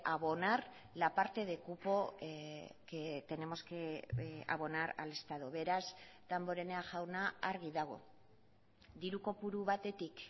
abonar la parte de cupo que tenemos que abonar al estado beraz damborenea jauna argi dago diru kopuru batetik